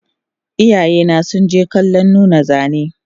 Iyayena sunje kallon nuna zane